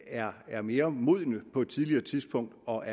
er er mere modne på et tidligere tidspunkt og